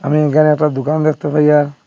আমি এখানে একটা দুকান দেখতে পাইয়্যা।